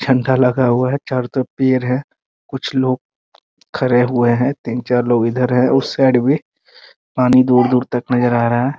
झंडा लगा हुआ है चारों तरफ पेड़ हैं कुछ लोग खड़े हुए हैं तीन-चार लोग इधर हैं उस साइड भी पानी दूर-दूर तक नजर आ रहा है ।